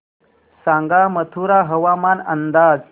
सांगा मथुरा हवामान अंदाज